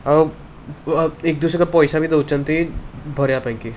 ଆଉ ଆ ବ ଏକ ଦୁସେର କ ପଇସା ବି ଦଉଛନ୍ତି ଭରିବା ପାଇଁ ।